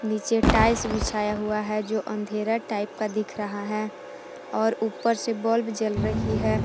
नीचे टाइल्स बिछाया हुआ है जो अंधेरा टाइप का दिख रहा है और ऊपर से बल्ब जल रहा है।